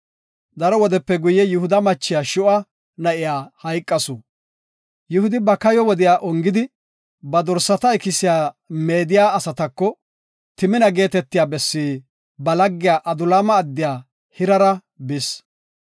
Daro wodepe guye, Yihuda machiya, Shuu7a na7iya hayqasu. Yihudi ba kayo wodiya ongidi, ba dorsata ikisiya meediya asatako Timina geetetiya bessi ba laggiya Adulaama addiya Hirera bis.